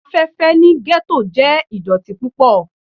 Afẹfẹ ni ghetto jẹ idọti pupọ